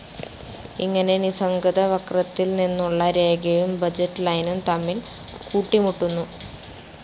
ഇങ്ങനെ നിസ്സംഗത വക്രത്തിൽ നിന്നുള്ള രേഖയും ബഡ്ജറ്റ്‌ ലൈനും തമ്മിൽ കൂട്ടിമുട്ടുന്നു.